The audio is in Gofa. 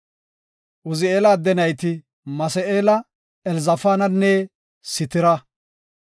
Uzi7eela adde nayti, Misa7eela, Elzafaananne Sitira.